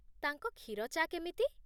ତାଙ୍କ କ୍ଷୀର ଚା' କେମିତି?